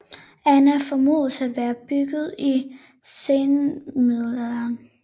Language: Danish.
Anna formodes at være bygget i senmiddelalderen